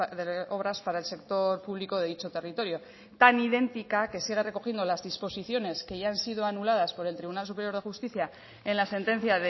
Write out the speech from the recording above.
de obras para el sector público de dicho territorio tan idéntica que sigue recogiendo las disposiciones que ya han sido anuladas por el tribunal superior de justicia en la sentencia